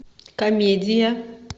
комедия